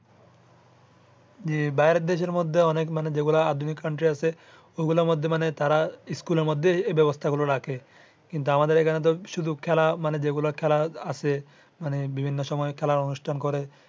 জি বাহিরের দেশের মধ্যে অনেক যেগুলা আধুনিক country আছে ওগুলার মধ্যে মানে তারা school এর মধ্যে এই বেবস্থা গুলা রাখে। কিন্তু আমাদের এখানে তো শুধু খেলা মানে যে গুলা খেলা আছে মানে বিভিন্ন সময় খেলার অনুষ্ঠান করে।